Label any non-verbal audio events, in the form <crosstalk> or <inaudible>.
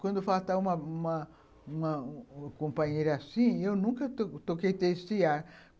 Quando faltava uma uma uma companheira assim, eu nunca toquei <unintelligible>